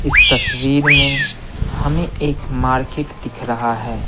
इस तस्वीर में हमें एक मार्केट दिख रहा है।